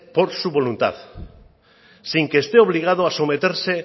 por su voluntad sin que esté obligado a someterse